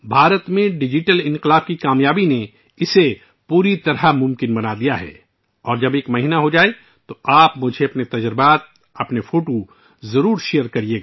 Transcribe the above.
بھارت میں ڈیجیٹل انقلاب کی کامیابی نے یہ سب ممکن بنا دیا ہے اور جب ایک مہینہ گزر جائے تو براہ کرم اپنے تجربات اور اپنی تصاویر مجھ سے شیئر کریں